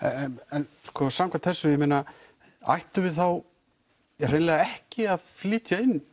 en samkvæmt þessu ættum við þá hreinlega ekki að flytja inn